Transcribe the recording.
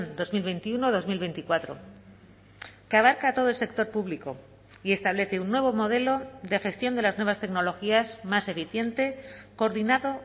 dos mil veintiuno dos mil veinticuatro que abarca a todo el sector público y establece un nuevo modelo de gestión de las nuevas tecnologías más eficiente coordinado